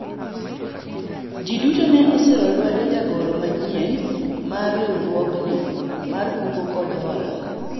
jii duto ne osiro lwedo jagoro manyien mar riwruogni mar kungo kod hola